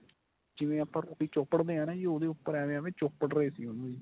ਜਿਵੇਂ ਆਪਾਂ ਰੋਟੀ ਚੋਪੜਦੇ ਆਂ ਨਾ ਜੀ ਉਹਦੇ ਉੱਪਰ ਐਵੇਂ ਐਵੇਂ ਚੋਪੜ ਰਹੇ ਸੀ ਉਹਨੂੰ